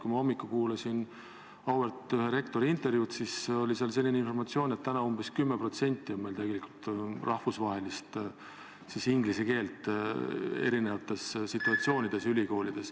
Kui ma hommikul auväärt rektori intervjuud kuulasin, siis oli seal selline informatsioon, et täna on meil ülikoolides tegelikult umbes 10% inglise keelt erinevates situatsioonides.